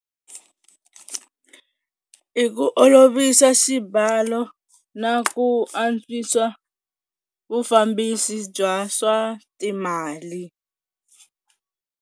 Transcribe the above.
I ku olovisa xibalo na ku antswisa vufambisi bya swa timali.